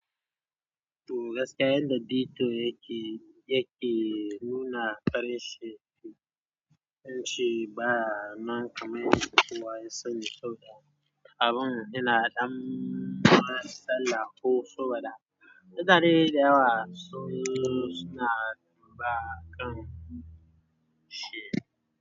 To gaskiya yadda Dito yake, yake nuna ƙarshen fim, zan ce baya nan ƙaman yadda kowa ya sani saboda abun yana dan matsala ko saboda, mutane dayawa suna ba ƙan shi.